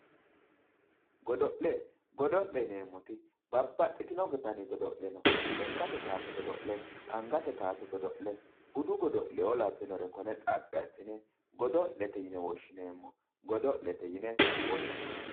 godo'le godo'le yineemmoti babbaxitinno dani godo'le no lekkate kaase godo'le angate kaase godo'le budu godo'leoo labbinnore kore xaphi assine godo'lete yine woshshineemmo godo'lete yine woshshineemmo